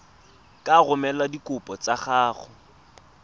ka romela dikopo tsa gago